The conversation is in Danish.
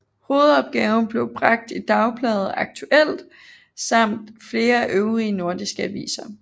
Hovedopgaven blev bragt i dagbladet Aktuelt samt flere øvrige nordiske aviser